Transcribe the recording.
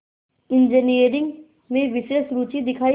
engineering में विशेष रुचि दिखाई